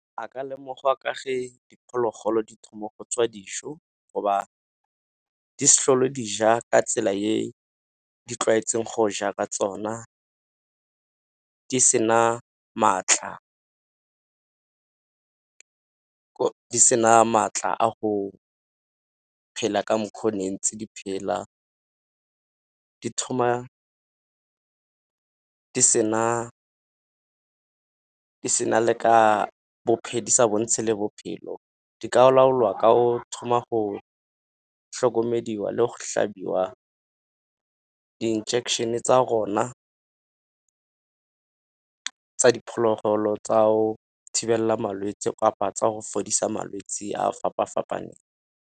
A ka lemogwa ka fa diphologolo di thoma go tswa go ba di se tlhole dija ka tsela e di tlwaetseng go ja ka tsona, di sena maatla. Di sena maatla a go phela ka mokgwa o ne ntse di phela. Di sa bontshe le ka bophelo di ka laolwa ka go thoma go hlokomediwa le go hlabiwa di-injection-e tsa gona tsa diphologolo tsa go thibela malwetsi kapa tsa go fodisa malwetse a a fapa-fapaneng.